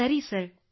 ಸರಿ sir yes sir